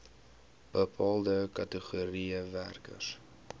bepaalde kategorieë werkers